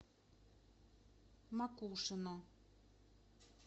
макушино